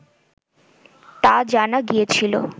তা জানা গিয়েছিল